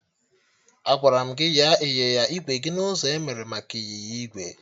Agwara m gị nyaa ịnyịnya igwe gị n'ụzọ emere maka ịnyịnya igwe!